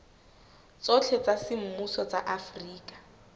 tsohle tsa semmuso tsa afrika